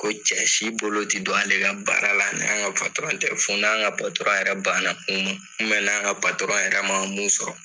Ko cɛ si bolo te don ale ka baara la ni an ka patɔrɔn tɛ fɔ n'an ka patɔrɔn yɛrɛ banna mun ma ubɛ n'an ka patɔrɔn yɛrɛ ma mun sɔrɔ